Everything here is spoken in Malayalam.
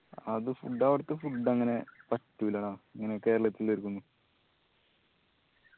അത് food അവിടുത്തെ food അങ്ങനെ പറ്റൂല്ലാ ഇങ്ങനെ കേരളത്തിലേവർക്ക് ഒന്നും